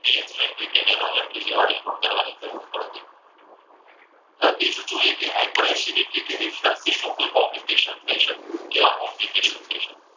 જ્યારે રિપોર્ટ કરવાની જરૂર પડતી નથી. અને બીજું તો એ કે high per acidity માં કોઈ complication થઈ શકે. કેવા complication થઈ શકે?